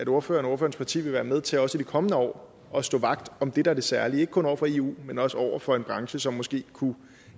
ordførerens parti vil være med til også i de kommende år at stå vagt om det der er det særlige ikke kun over for eu men også over for en branche som måske kunne